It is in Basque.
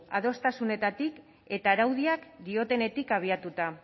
adostasunetatik eta araudiak dioenetik abiatuta